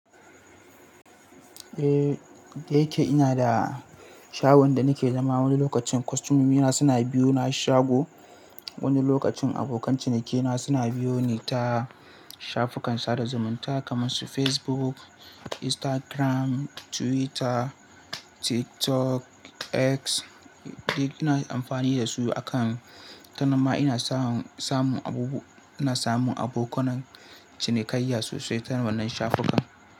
Eh, da yake ina da shagon da nake zama, wani lokacin kostomina suna biyo na shago. Wani lokacin abokan cinikaina suna biyo ni ta shafukan sada zumunta kamar su Facebook, Instagram, Twitter, TikTok, X. Duk ina amfani da su akan kanama ina samu, samu abubu ina samu abokan cinikayya sosai ta wannan shafukan.